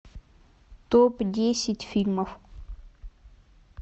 топ десять фильмов